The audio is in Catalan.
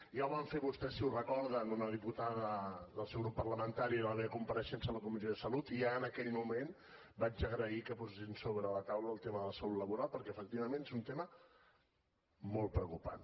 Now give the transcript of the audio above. ja ho van fer vostès si ho recorden una diputada del seu grup parlamentari en la meva compareixença a la comissió de salut i ja en aquell moment vaig agrair que posessin sobre la taula el tema de la salut laboral perquè efectivament és un tema molt preocupant